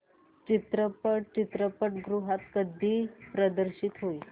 चित्रपट चित्रपटगृहात कधी प्रदर्शित होईल